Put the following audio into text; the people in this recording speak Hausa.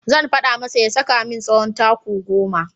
Zan faɗa masa ya saka min tsawon taku goma.